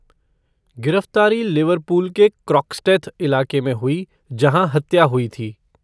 गिरफ्तारी लिवरपूल के क्रोक्सटेथ इलाके में हुई, जहाँ हत्या हुई थी।